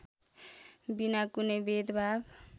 विना कुनै भेदभाव